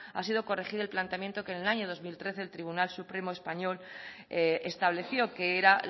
ha sido corregir el planteamiento que en el año dos mil trece el tribunal supremo español estableció que era